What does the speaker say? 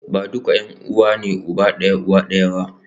Ba duka ’yan’uwa ne uba da uwa ɗaya ba.